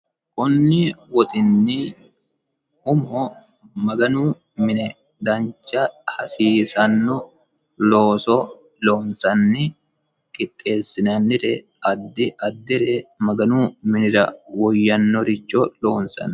konni woxinni umo maganu mine dancha hasiisanno looso loonsanni qixxeessinannire addi addire maganu minira woyyannoricho loonsanni.